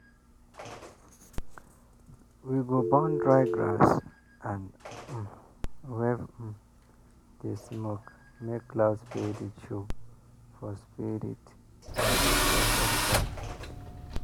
we go burn dry grass and um wave um di smoke make cloud spirit show for spirit show for sky.